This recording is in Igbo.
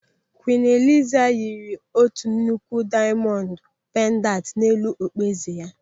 Kwiin Eliza yiri otu nnukwu diamondu pendantu n'elu okpu eze ya.